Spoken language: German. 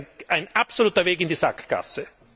Das ist ein absoluter Weg in die Sackgasse.